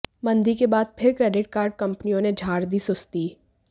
मंदी के बाद फिर क्रेडिट कार्ड कंपनियों ने झाड़ दी सुस्ती